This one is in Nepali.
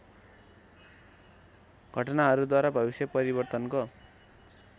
घटनाहरूद्वारा भविष्य परिवर्तनको